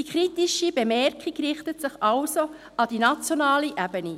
Die kritische Bemerkung richtet sich an die nationale Ebene.